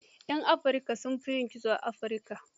Yan Afrika, sun fi yin kitso a Afirika.